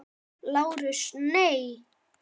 LÁRUS: Nei.